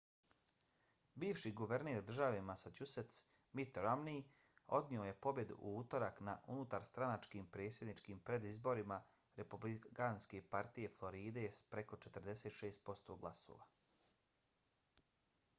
bivši guverner države massachusetts mitt romney odnio je pobjedu u utorak na unutarstranačkim predsjedničkim predizborima republikanske partije floride s preko 46 posto glasova